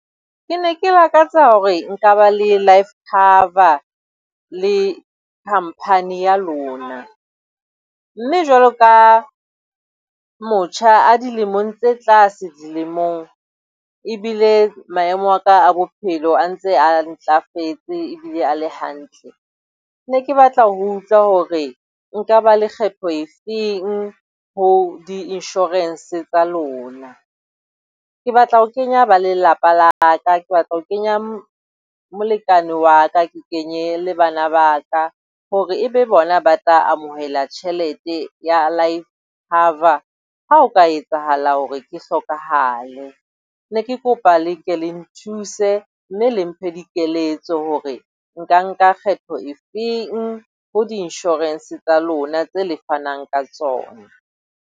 Ke ne ke lakatsa hore nka ba le life cover le company ya lona. Mme jwalo ka motjha a dilemong tse tlase dilemong ebile maemo a ka a bophelo a ntse a ntlafetse ebile a le hantle. Ne ke batla ho utlwa hore nka ba lekgetho e feng ho di-insurance tsa lona. Ke batla ho kenya ba lelapa la ka, ke batla ho kenya molekane wa ka. Ke kenye le bana ba ka hore e be bona ba tla amohela tjhelete ya life cover ha o ka etsahala hore ke hlokahale. Ne ke kopa le ke le nthuse mme le mphe dikeletso hore nka nka kgetho e feng ho di-insurance tsa lona tse le fanang ka tsona.